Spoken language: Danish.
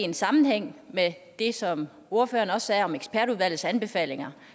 en sammenhæng med det som ordføreren også sagde om ekspertudvalgets anbefalinger